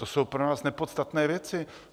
To jsou pro nás nepodstatné věci.